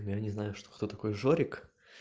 я не знаю что кто такой жорик